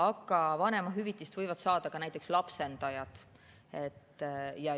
Aga vanemahüvitist võivad saada ka näiteks lapsendajad.